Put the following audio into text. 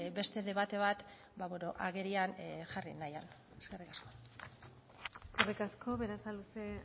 beste debate bat agerian jarri nahian eskerrik asko eskerrik asko berasaluze